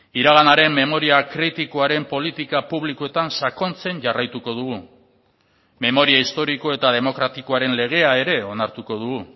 iraganaren memoria kritikoaren politika publikoetan sakontzen jarraituko dugu memoria historiko eta demokratikoaren legea ere onartuko dugu